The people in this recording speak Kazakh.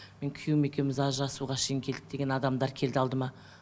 мен күейуім екеуіміз ажырасуға шейін келдік деген адамдар келді алдыма